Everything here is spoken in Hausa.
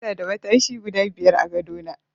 Ina da matashi guda biyar a gadona.